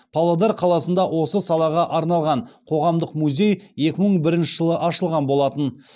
павлодар қаласында осы салаға арналған қоғамдық музей екі мың бірінші жылы ашылған болатын